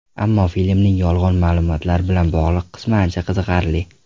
Ammo filmning yolg‘on ma’lumotlar bilan bog‘liq qismi ancha qiziqarli.